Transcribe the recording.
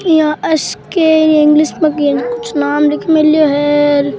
यहाँ S K English में कोई कुछ नाम लिख मिल्यो है और --